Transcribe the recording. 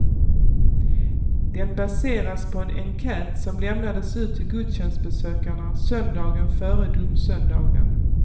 Den baseras på en enkät som lämnades ut till gudstjänstbesökarna söndagen före domsöndagen.